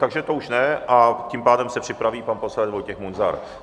Takže to už ne, a tím pádem se připraví pan poslanec Vojtěch Munzar.